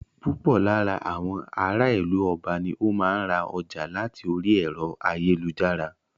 Púpọ̀ lára àwọn ará ìlú Ọba ni o máa ń ra ọjà láti orí ẹ̀rọ ayélujára.